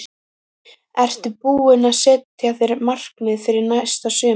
Ertu búinn að setja þér markmið fyrir næsta sumar?